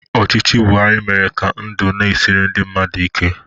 Ọchịchị Buhari mere ka ndụ na-esiri ndị mmadụ ike.